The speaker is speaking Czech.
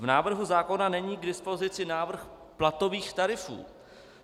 V návrhu zákona není k dispozici návrh platových tarifů.